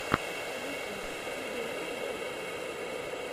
ютуб набери подборки